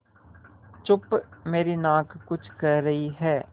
चुप मेरी नाक कुछ कह रही है